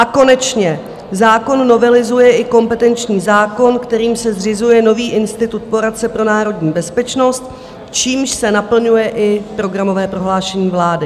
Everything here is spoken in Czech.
A konečně zákon novelizuje i kompetenční zákon, kterým se zřizuje nový institut poradce pro národní bezpečnost, čímž se naplňuje i programové prohlášení vlády.